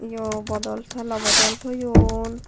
yo bodol telo bodol toyon.